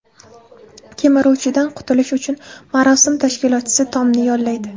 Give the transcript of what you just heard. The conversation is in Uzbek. Kemiruvchidan qutulish uchun marosim tashkilotchisi Tomni yollaydi.